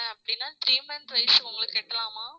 அப்படின்னா கழிச்சு உங்களுக்கு கட்டலாமா